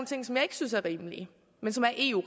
ting som jeg ikke synes er rimelige men som er eu